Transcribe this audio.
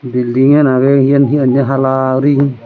building gan agey eyan heyanay hala uri.